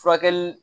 Furakɛli